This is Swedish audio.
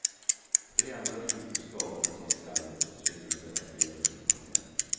Tre andra sjukhus skadades av skalvet och tvingades evakuera sina patienter.